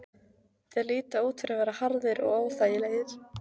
Þeir líta út fyrir að vera harðir og óþægilegir.